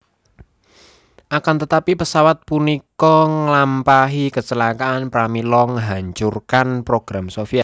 Akantetapi pesawat punika ngelampahi kecelakaan pramila nghancurkan program Soviet